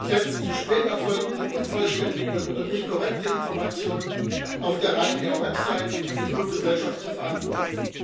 Selbst zu spät erfolgte, unvollständige oder nicht korrekte Informationen auf der Ryanair Website hat die Fluggesellschaft zu verantworten.